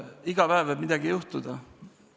Iga päev võib midagi juhtuda.